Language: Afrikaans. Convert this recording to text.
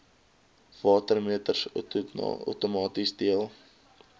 watermeters outomaties deel